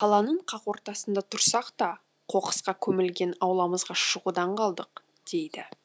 ол қаланың қақ ортасында тұрсақ та қоқысқа көмілген ауламызға шығудан қалдық дейді